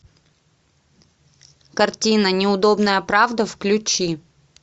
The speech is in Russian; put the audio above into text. картина неудобная правда включи